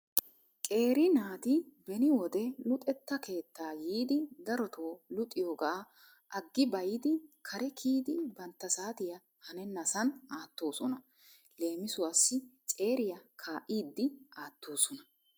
Qeeri naati beni wode luxetta keettaa yiidi darotoo luxiyooga agibayddi kare kiyyidi bantta saatiyaa hanenasan aattoosona. Leemisuwassi ceeriyaa kaa'idi aattoosona.